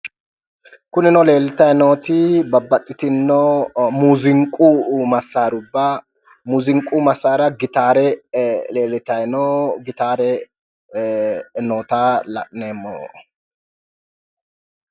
Kunino leeltayi nooti babbaxxitinno muuziiqu massaarubba muuziiqu massaara gitaare leellitayi no. Gitaare noota la'neemmo.